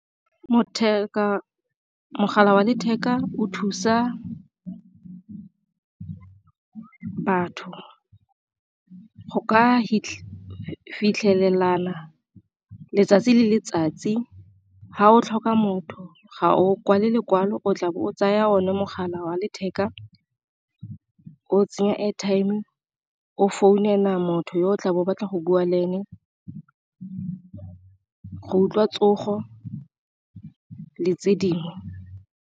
Mogala wa letheka o thusa batho go ka fitlhelena letsatsi le letsatsi, Fa o tlhoka motho ga o kwale lekwalo o tla be o tsaya one mogala wa letheka o tsenya airtime o founela motho yo o tlabo o batla go bua le ene go utlwa tsogo le tse dingwe.